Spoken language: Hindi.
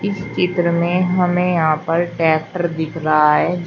चित्र में हमें यहां पर ट्रैक्टर दिख रहा है जिस--